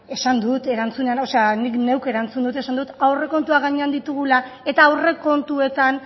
esan dut erantzuna o sea nik neuk erantzun dut esan dut aurrekontuak gainean ditugula eta aurrekontuetan